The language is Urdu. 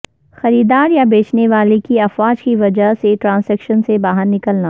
خریدار یا بیچنے والے کی افواج کی وجہ سے ٹرانزیکشن سے باہر نکلنا